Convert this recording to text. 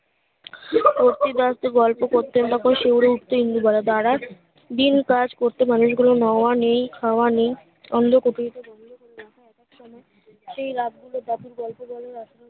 অতি বাস্ত গল্প করতেন তখন শিউরে উঠতো ইন্দুবালা দ্বারা দিন কাজ করেতে মানুষ গুলো নাওয়া নেই খাওয়া নেই অন্ধ সেই রাত বেরি